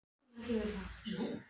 Við verðum að hafa augun alls staðar.